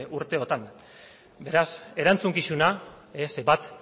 urteotan beraz erantzukizuna bat